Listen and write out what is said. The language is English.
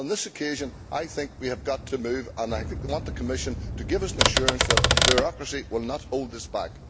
On this occasion, I think we have got to move, and I want the Commission to give us an assurance that bureaucracy will not hold us back.